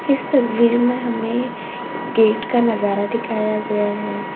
इस तस्वीर में हमें गेट का नजारा दिखाया गया है।